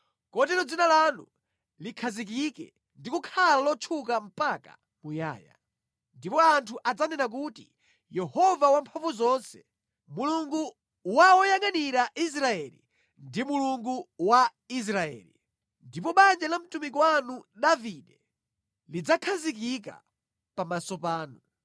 kotero dzina lanu likhazikike ndi kukhala lotchuka mpaka muyaya. Ndipo anthu adzanena kuti, ‘Yehova Wamphamvuzonse, Mulungu wa woyangʼanira Israeli, ndi Mulungu wa Israeli!’ Ndipo banja la mtumiki wanu Davide lidzakhazikika pamaso panu.